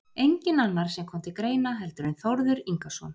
Enginn annar sem kom til greina heldur en Þórður Ingason